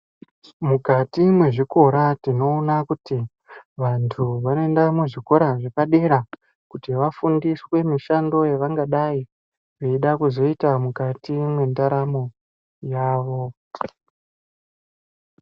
Mukati mwezvikora tinoona kuti vanthu vanoenda muzvikora zvepadera kuti vafundiswe mishando yavangadai vaida kuzoita mukati mwendaramo yavo.